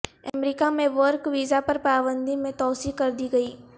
امریکہ میں work visa پر پابندی میں توسیع کردی گئی